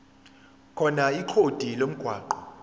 khona ikhodi lomgwaqo